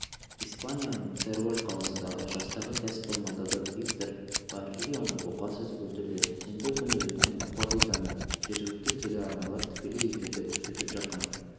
испанияның теруэль қаласында жастағы кәсіпқой матадор виктор баррионы бұқа сүзіп өлтірді сенбі күні өткен корриданы жергілікті телеарналар тікелей эфирде көрсетіп жатқан